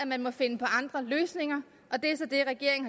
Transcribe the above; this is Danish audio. man må finde andre løsninger